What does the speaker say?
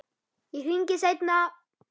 Ég hringi seinna.